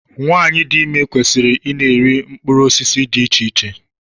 Nwaanyị dị ime kwesịrị ị na-eri mkpụrụ osisi dị iche iche.